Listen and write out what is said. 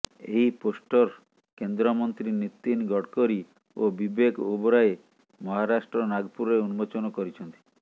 ଏହି ପୋଷ୍ଟର କେନ୍ଦ୍ରମନ୍ତ୍ରୀ ନୀତିଗଡକରୀ ଓ ବିବେକ ଓବରାୟ ମହାରାଷ୍ଟ୍ର ନାଗପୁରରେ ଉନ୍ମୋଚନ କରିଛନ୍ତି